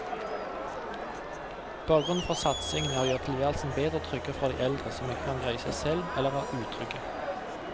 Bakgrunnen for satsingen er å gjøre tilværelsen bedre og tryggere for de eldre som ikke kan greie seg selv eller er utrygge.